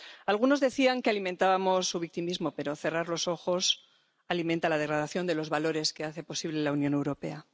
Algunos decían que alimentábamos su victimismo, pero cerrar los ojos alimenta la degradación de los valores que hacen posible la Unión Europea.